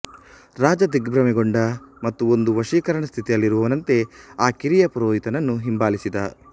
ರಾಜ ದಿಗ್ಭ್ರಮೆಗೊಂಡ ಮತ್ತು ಒಂದು ವಶೀಕರಣ ಸ್ಥಿತಿಯಲ್ಲಿರುವವನಂತೆ ಆ ಕಿರಿಯ ಪುರೋಹಿತನನ್ನು ಹಿಂಬಾಲಿಸಿದ